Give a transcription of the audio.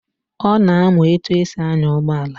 Ọ na-amụ etu esi anya ụgbọala